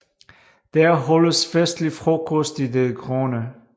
Der holdes festlig frokost i det grønne